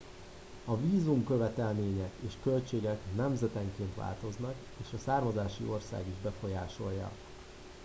a vízumkövetelmények és költségek nemzetenként változnak és a származási ország is befolyásolja